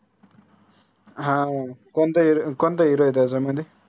हा कोनता hero कोनता hero आहे त्याच्यामध्ये?